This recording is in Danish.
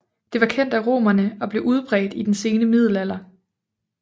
Det var kendt af romerne og blev udbredt i den sene middelalder